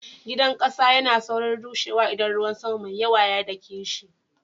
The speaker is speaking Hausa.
Gidan kasa yana saurin rushewa idan ruwan sama mai yawa ya dake shi.